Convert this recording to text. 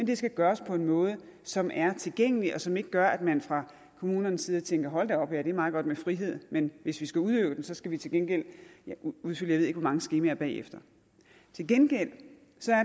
det skal gøres på en måde som er tilgængelig og som ikke gør at man fra kommunernes side tænker hold da op ja det er meget godt med frihed men hvis vi skal udøve den skal vi til gengæld udfylde jeg mange skemaer bagefter til gengæld